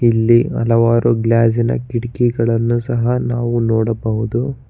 ಇಲ್ಲಿ ಹಲವಾರು ಗ್ಲಾಸಿನ ಕಿಟಕಿಗಳನ್ನು ಸಹ ನಾವು ನೋಡಬಹುದು.